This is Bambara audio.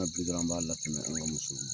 Hakili la an b'a latɛmɛ an ka musow ma.